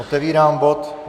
Otevírám bod